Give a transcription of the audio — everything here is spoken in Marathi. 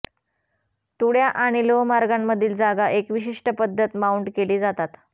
तुळ्या आणि लोहमार्गांमधील जागा एक विशिष्ट पद्धत माऊंट केली जातात